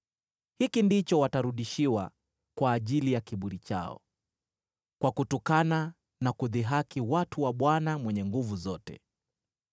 Hiki ndicho watarudishiwa kwa ajili ya kiburi chao, kwa kutukana na kudhihaki watu wa Bwana Mwenye Nguvu Zote.